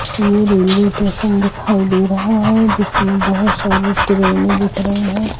ये railway station दिखाई दे रहा है जिसमे बहोत सारी ट्रेने दिख रही है ।